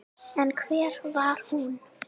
En hver var hún?